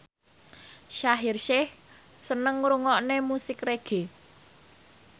Shaheer Sheikh seneng ngrungokne musik reggae